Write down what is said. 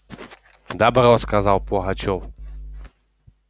добро сказал пугачёв